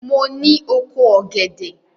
Mo ní oko ògèdè.